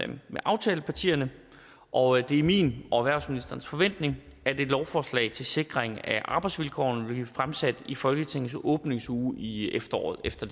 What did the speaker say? det med aftalepartierne og det er min og erhvervsministeren forventning at et lovforslag til sikring af arbejdsvilkårene vil blive fremsat i folketingets åbningsuge i efteråret efter